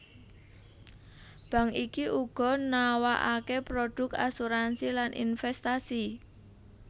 Bank iki uga nawakake produk asuransi lan investasi